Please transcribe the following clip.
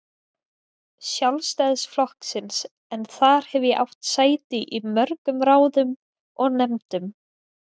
Sjálfstæðisflokksins en þar hef ég átt sæti í mörgum ráðum og nefndum.